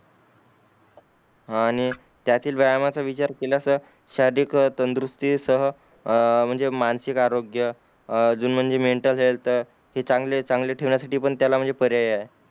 हान आणि त्यातील व्यायामाचा विचार केलास शारीरिक तंदुरुस्ती सह अ म्हंजे मानसिक आरोग्य अ अजून म्हंजे मेंटल हेल्थ हे चांगले चांगले ठेवण्या साठी त्याला म्हणजे पर्याय आहे